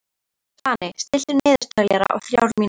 Svani, stilltu niðurteljara á þrjár mínútur.